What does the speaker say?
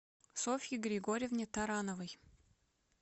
софье григорьевне тарановой